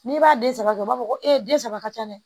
N'i b'a den saba kɛ u b'a fɔ ko e den saba ka ca dɛ